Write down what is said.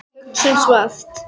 Hugsum svart.